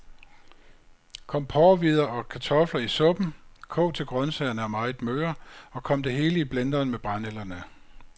Kom porrehvider og kartofler i suppen, kog til grøntsagerne er meget møre, og kom det hele i blenderen med brændenælderne.